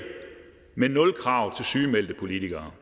men nul krav til sygemeldte politikere